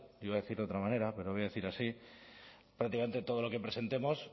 iba a decir de otra manera pero lo voy a decir así prácticamente todo lo que presentemos